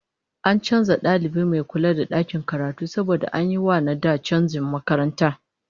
An canza dalibi mai kula da dakin karatu saboda an yi wa na da canjin makaranta